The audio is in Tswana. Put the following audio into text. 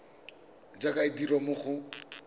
jaaka e dirwa mo go